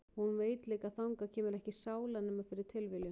Og hún veit líka að þangað kemur ekki sála nema fyrir tilviljun.